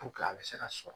a bɛ se ka sɔrɔ